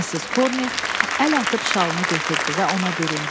Missis Corney əl atıb şalını götürdü və ona büründü.